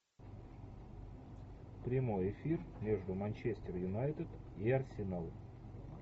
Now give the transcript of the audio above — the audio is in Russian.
прямой эфир между манчестер юнайтед и арсенал